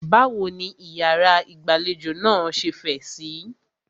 Báwo ní ìyàrá ìgbàlejò náà ṣe fẹ̀ síí?